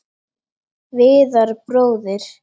Viðar bróðir.